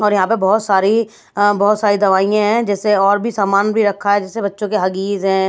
और यहां पर बहुत सारी अअबहुत सारी दवाइयां हैं जैसे और भी सामान भी रखा है जैसे बच्चों के हगीज हैं।